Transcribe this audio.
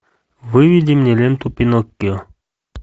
выведи мне ленту пиноккио